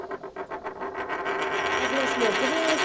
ਅੱਜ ਮੈਂ ਸਮੋਸੇ ਬਣਾਏ,